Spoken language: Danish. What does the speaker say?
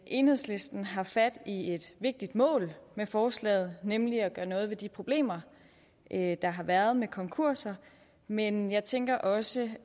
enhedslisten har fat i et vigtigt mål med forslaget nemlig at gøre noget ved de problemer der har været med konkurser men jeg tænker også